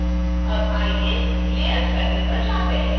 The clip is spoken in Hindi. अब आइए layers panel पर जाते हैं